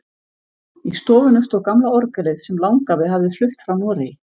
Í stofunni stóð gamla orgelið sem langafi hafði flutt frá Noregi.